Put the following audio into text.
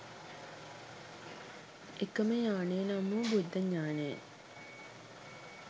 එකම යානය නම් වූ බුද්ධඥානයෙන්